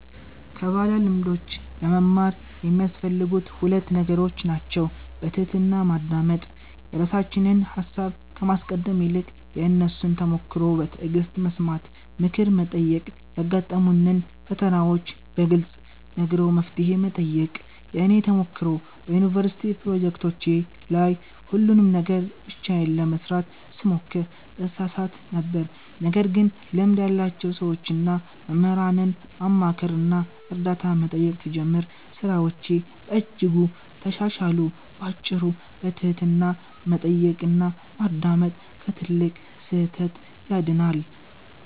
ከባለልምዶች ለመማር የሚያስፈልጉት ሁለት ነገሮች ናቸው፦ በትሕትና ማዳመጥ፦ የራሳችንን ሃሳብ ከማስቀደም ይልቅ የእነሱን ተሞክሮ በትዕግሥት መስማት። ምክር መጠየቅ፦ ያጋጠሙንን ፈተናዎች በግልጽ ነግሮ መፍትሄ መጠየቅ። የእኔ ተሞክሮ፦ በዩኒቨርሲቲ ፕሮጀክቶቼ ላይ ሁሉንም ነገር ብቻዬን ለመሥራት ስሞክር እሳሳት ነበር። ነገር ግን ልምድ ያላቸውን ሰዎችና መምህራንን ማማከርና እርዳታ መጠየቅ ስጀምር ሥራዎቼ በእጅጉ ተሻሻሉ። ባጭሩ፤ በትሕትና መጠየቅና ማዳመጥ ከትልቅ ስህተት ያድናል።